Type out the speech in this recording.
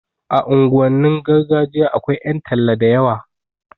A unguwannin gargajiya akwai ƴan talla da yawa